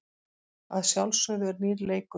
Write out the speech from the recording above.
Að sjálfsögðu er nýr leikur.